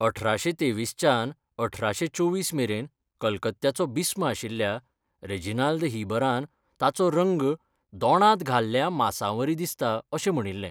अठराशे तेवीसच्यान अठराशे चोवीस मेरेन कलकत्त्याचो बिस्म आशिल्ल्या ,रेजिनाल्द हीबरान, ताचो रंग दोणांत घाल्ल्या मांसावरी दिसता अशें म्हणिल्लें.